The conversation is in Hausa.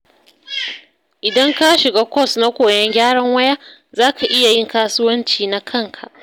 Idan ka shiga kwas na koyon gyaran waya, za ka iya yin kasuwanci na kanka.